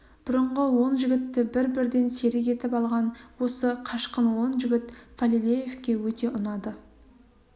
бұрынғы он жігітті бір-бірден серік етіп алған осы қашқын он жігіт фалилеевке өте ұнады